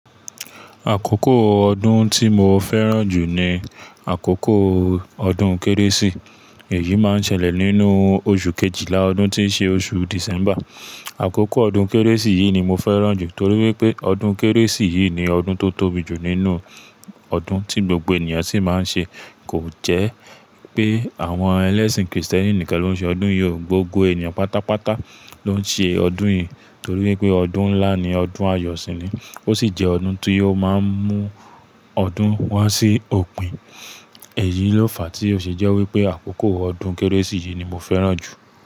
Àkókò ọdún tí mo fẹ́ràn jù ni àkókò ọdún Kérésì. Èyí máa ń ṣẹlẹ̀ nínú oṣù kejìlá ọdún tí ó ṣe oṣù December. Àkókò ọdún Kérésì yìí ni mo fẹ́ràn jù torí wípé ọdún Kérésì yìí ni ọdún tó tóbi jù nínú ọdún tí gbogbo ènìyàn sì máa ń ṣe. Kò jẹ́ pé àwọn ẹlẹ́sìn Kristẹni nìkan ló ń ṣe ọdún yìí, gbogbo ènìyàn pátápátá ló ń ṣe ọdún yìí torí wípé ọdún ńlá ni, ọdún ayọ̀ sì ni. Ó sì jẹ́ ọdún tí yóò máa ń mú ọdún wá sí òpin. Èyí ló fàá tí ó ṣe jẹ́ wípé àkókò ọdún Kérésì yìí ni mo fẹ́ràn jù.